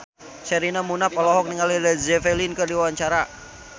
Sherina Munaf olohok ningali Led Zeppelin keur diwawancara